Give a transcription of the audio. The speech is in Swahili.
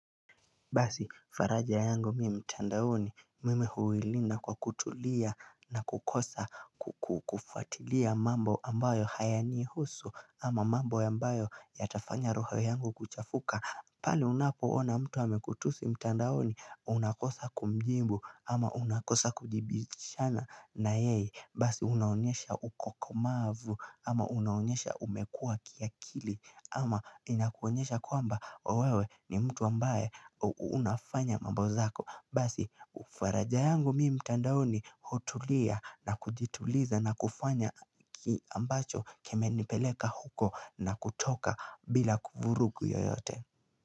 Basi faraga yangu mimi mtandaoni mimi huilinda kwa kutulia na kukosa kukufuatilia mambo ambayo hayaniihusu ama mambo ambayo yatafanya roho yangu kuchafuka pale unapoona mtu amekutusi mtandaoni unakosa kumjimbu ama unakosa kujibishana na yeye basi unaonyesha ukokomavu ama unaonyesha umekua kiakili ama inakuonyesha kwamba wewe ni mtu ambaye unafanya mambozako basi ufaraja yangu mi mtandaoni hutulia na kujituliza na kufanya ki ambacho kimenipeleka huko na kutoka bila kuvurugu yoyote.